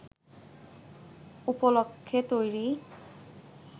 উপলক্ষ্যে তৈরি